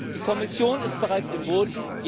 Die Kommission ist bereits im Boot.